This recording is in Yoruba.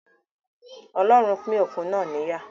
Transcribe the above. Ọlọ́run pín òkun náà níyà